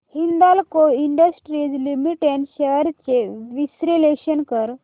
Hindalco Industries Limited shares चे विश्लेषण कर